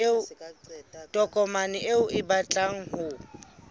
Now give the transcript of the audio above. tokomane eo o batlang ho